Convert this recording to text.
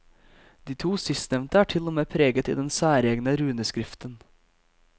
De to sistnevnte er til og med preget i den særegne runeskriften.